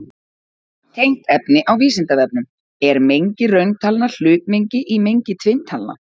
Tengt efni á Vísindavefnum: Er mengi rauntalna hlutmengi í mengi tvinntalna?